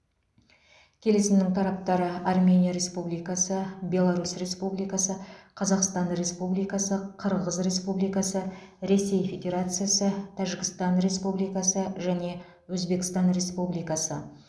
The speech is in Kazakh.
келісімнің тараптары армения республикасы беларусь республикасы қазақстан республикасы қырғыз республикасы ресей федерациясы тәжікстан республикасы және өзбекстан республикасы